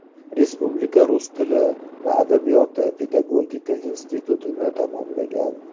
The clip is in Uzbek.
Respublika rus tili va adabiyoti pedagogika institutini tamomlagan.